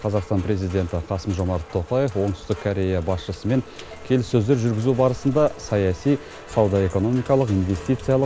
қазақстан президенті қасым жомарт тоқаев оңтүстік корея басшысымен келіссөздер жүргізу барысында саяси сауда экономикалық инвестициялық